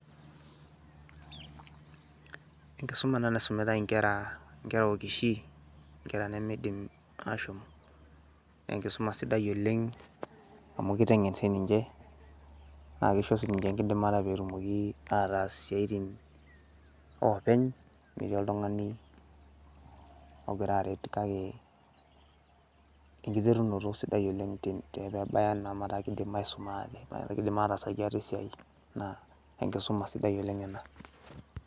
Enkisuma ena naisumitai inkera okishin, inkera nemiidim aashom, naa enkisuma sidai oleng' amu kiteng'en sininche naa kisho sininche enkidimata peyie attack isiaitin oopeny' metis oltung'ani ogira aret, kake enkiterunoto sidai oleng' amu kiidim aisuma after, metaa kiidim ataasaki ate esiai naa enkisuma sidai oleng' ina.